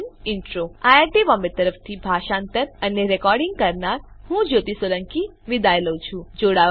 iit Bombay તરફથી spoken tutorial project માટે ભાષાંતર કરનાર હું જ્યોતી સોલંકી વિદાય લઉં છું